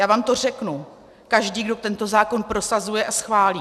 Já vám to řeknu - každý, kdo tento zákon prosazuje a schválí.